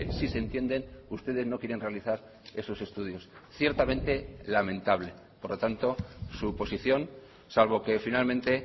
sí se entienden ustedes no quieren realizar esos estudios ciertamente lamentable por lo tanto su posición salvo que finalmente